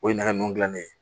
O ye nɛgɛ ninnu dilan ne